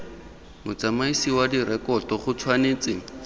motsamaisi wa direkoto go tshwanetse